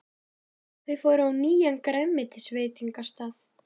Þau fóru á nýjan grænmetisveitingastað.